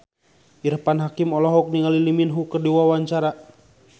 Irfan Hakim olohok ningali Lee Min Ho keur diwawancara